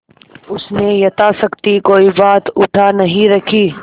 उसने यथाशक्ति कोई बात उठा नहीं रखी